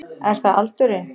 Er það aldurinn?